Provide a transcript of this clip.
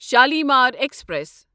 Shalimar express